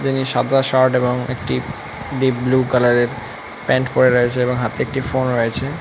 সাদা শার্ট এবং একটি ডিপ বুলু কালার এর প্যান্ট পরে রয়েছে এবং হাতে একটি ফোন রয়েছে।